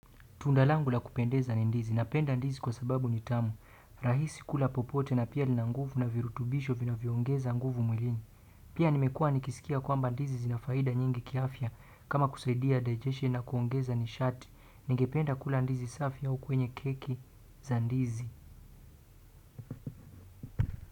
Tunda langu la kupendeza ni ndizi napenda ndizi kwa sababu ni tamu rahisi kula popote na pia lina nguvu na virutubisho vinavyo ongeza nguvu mwilini. Pia nimekua nikisikia kwamba ndizi zina faida nyingi kiafya kama kusaidia digestion na kuongeza ni shati. Ningependa kula ndizi safi au kwenye keki za ndizi.